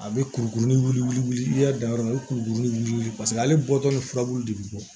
A bɛ kurukurunin wugu i y'a dan yɔrɔ min na i kurukurunin paseke ale bɔtɔ ni furabulu de bɛ bɔ